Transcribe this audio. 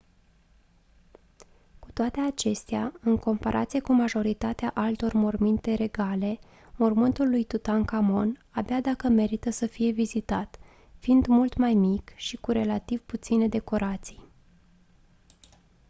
cu toate acestea în comparație cu majoritatea altor morminte regale mormântul lui tutankhamon abia dacă merită să fie vizitat fiind mult mai mic și cu relativ puține decorații